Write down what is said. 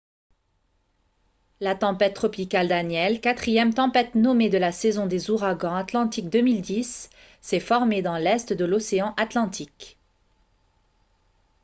la tempête tropicale danielle quatrième tempête nommée de la saison des ouragans atlantiques 2010 s'est formée dans l'est de l'océan atlantique